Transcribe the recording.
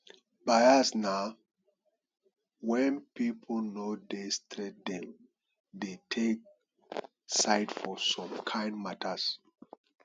bias na when pipo no dey straight dem dey take side for some kind matters